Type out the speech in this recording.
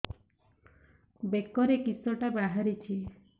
ବେକରେ କିଶଟା ବାହାରିଛି